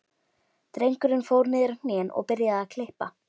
Drengurinn fór niður á hnén og byrjaði að klippa.